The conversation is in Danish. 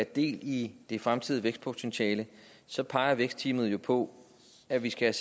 del i det fremtidige vækstpotentiale så peger vækstteamet jo på at vi skal